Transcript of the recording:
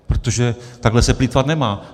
Protože takhle se plýtvat nemá.